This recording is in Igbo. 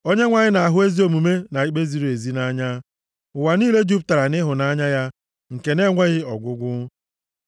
Onyenwe anyị na-ahụ ezi omume na ikpe ziri ezi nʼanya; ụwa niile jupụtara nʼịhụnanya ya nke na-enweghị ọgwụgwụ.